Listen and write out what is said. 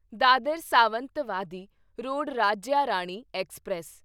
Dadar Sawantwadi road Rajya Rani express